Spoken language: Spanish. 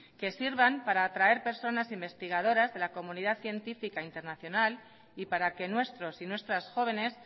que sirvan para atraer personas investigadoras de la comunidad científica internacional y para que nuestros y nuestras jóvenes